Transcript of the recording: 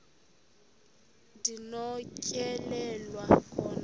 ndi nokutyhilelwa khona